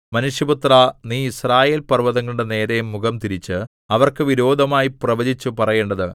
മനുഷ്യപുത്രാ നീ യിസ്രായേൽപർവ്വതങ്ങളുടെ നേരെ മുഖംതിരിച്ച് അവർക്ക് വിരോധമായി പ്രവചിച്ചു പറയേണ്ടത്